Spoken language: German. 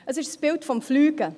Es ist das Bild vom Fliegen.